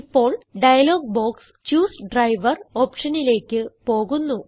ഇപ്പോൾ dialog box choose driver ഓപ്ഷനിലേക്ക് പോകുന്നു